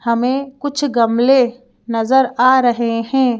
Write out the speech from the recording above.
हमें कुछ गमले नजर आ रहे हैं।